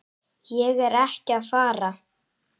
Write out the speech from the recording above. Ég er ekki að fara.